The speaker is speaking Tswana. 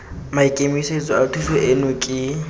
maikemisetso a thuso eno ke